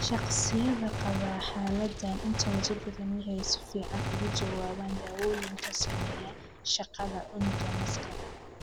Shakhsiyaadka qaba xaaladaan intooda badan waxay si fiican uga jawaabaan daawooyinka saameeya shaqada unugga masska.